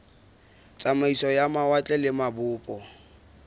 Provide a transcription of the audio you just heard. tsamaiso ya mawatle le mabopo